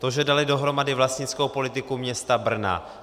To, že dali dohromady vlastnickou politiku města Brna.